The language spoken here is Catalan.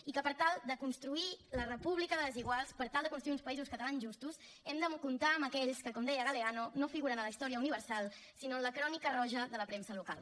i que per tal de construir la república de les iguals per tal de construir uns països catalans justos hem de comptar amb aquells que com deia galeano no figuren a la història universal sinó en la crònica roja de la premsa local